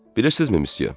Bilirsinizmi Missiya?